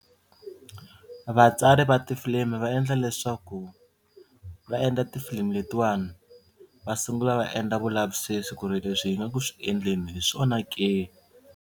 Vatsari va tifilimi va endla leswaku va endla tifilimi letiwani va sungula va endla vulavisisi ku ri leswi hi nga ku swi endleni hi swona ke.